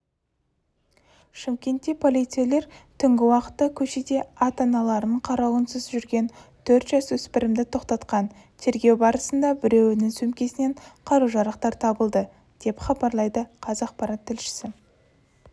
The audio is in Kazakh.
шымкентте полицейлер түнгі уақытта көшеде ата-аналарының қарауынсыз жүрген төрт жасөспірімді тоқтатқан тергеу барысында біреуінің сөмкесінен қару-жарақтар табылды деп хабарлайды қазақпарат тілшісі